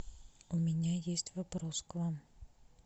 у меня есть вопрос к вам